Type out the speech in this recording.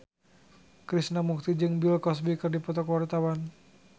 Krishna Mukti jeung Bill Cosby keur dipoto ku wartawan